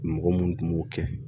Mɔgɔ minnu tun b'u kɛ